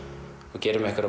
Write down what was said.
og gerum einhverja